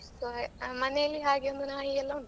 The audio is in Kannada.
ಮನೆಯಲ್ಲಿ ಹಾಗೆ ಒಂದು ನಾಯಿಯೆಲ್ಲ ಉಂಟು.